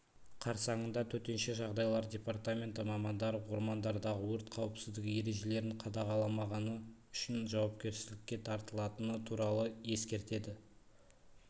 қарсаңында төтенше жағдайлар департаменті мамандары ормандардағы өрт қауіпсіздігі ережелерін қадағаламағаны үшін жауапкершілікке тартылатыны туралы ескертеді